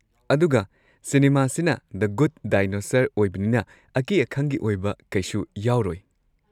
ꯑꯗꯨꯒ ꯁꯤꯅꯤꯃꯥꯁꯤꯅ The Good Dinosaur ꯑꯣꯏꯕꯅꯤꯅ, ꯑꯀꯤ ꯑꯈꯪꯒꯤ ꯑꯣꯏꯕ ꯀꯩꯁꯨ ꯌꯥꯎꯔꯣꯏ꯫